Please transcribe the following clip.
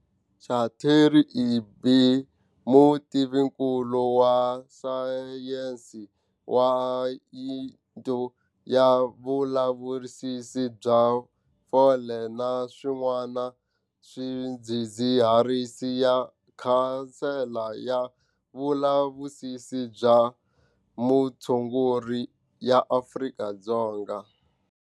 Catherine Egbe, mutivinkulu wa sayense wa Yuniti ya Vulavisisi bya Fole na Swin'wana Swidzidziharisi ya Khansele ya Vulavisisi bya mutshunguri ya Afrika-Dzonga.